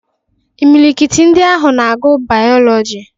Imilikiti ndị ahụ na-agụ Bayọlọji.